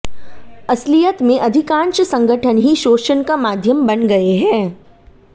असलियत में अधिकाँश संगठन ही शोषण का माध्यम बन गए हैं